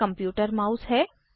यह computer mouse है